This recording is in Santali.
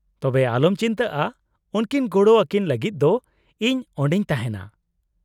-ᱛᱚᱵᱮ ᱟᱞᱚᱢ ᱪᱤᱱᱛᱟᱹᱜᱼᱟ , ᱩᱱᱠᱤᱱ ᱜᱚᱲᱚ ᱟᱹᱠᱤᱱ ᱞᱟᱹᱜᱤᱫ ᱫᱚ ᱤᱧ ᱚᱸᱰᱮᱧ ᱛᱟᱦᱮᱸᱱᱟ ᱾